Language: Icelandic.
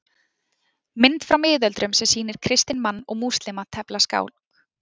Mynd frá miðöldum sem sýnir kristinn mann og múslíma tefla skák.